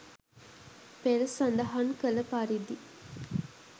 පෙර සඳහන් කළ පරිදි